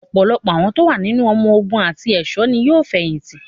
Ọ̀pọ̀lọpọ̀ àwọn tó wà nínú ọmọ ogun àti ẹ̀ṣọ́ ní yóò fẹ̀yìn tì.